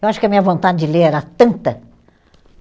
Eu acho que a minha vontade de ler era tanta.